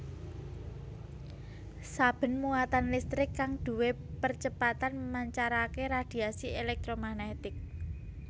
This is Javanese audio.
Saben muatan listrik kang duwé percepatan mancarake radhiasi èlèktromagnetik